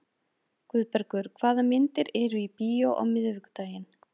Guðbergur, hvaða myndir eru í bíó á miðvikudaginn?